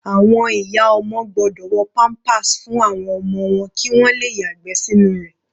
Àwọn ìyá ọmọ gbọ́dọ̀ wọ pampers fún àwọn ọmọ wọn kí wọn le yàgbẹ́ sínú rẹ̀.